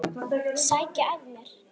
Sækja að mér.